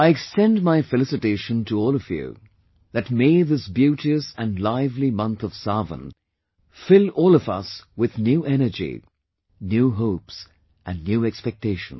I extend my felicitation to you all, that may this beauteous and lively month of Sawan fill all of us with new energy, new hopes and new expectations